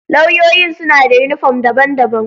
Lauyoyin suna da uniform daban-daban.